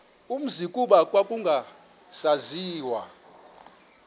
umzi kuba kwakungasaziwa